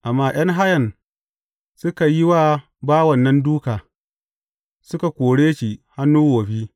Amma ’yan hayan suka yi wa bawan nan dūka, suka kore shi hannu wofi.